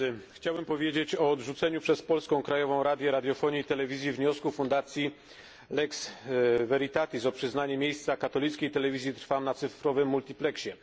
Chciałbym powiedzieć o odrzuceniu przez Polską Krajową Radę Radiofonii i Telewizji wniosku fundacji Lux Veritatis o przyznanie miejsca katolickiej telewizji Trwam na cyfrowym multipleksie.